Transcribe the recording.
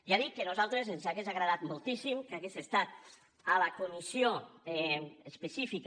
ja dic que a nosaltres ens hauria agradat moltíssim que hagués estat a la comissió específica